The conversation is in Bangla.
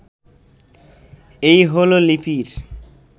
এই হলো লিপির